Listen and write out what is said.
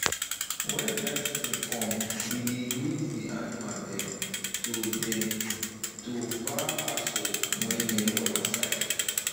wen dry season come we dey lead d animal dem to dem to far pasture wey near water side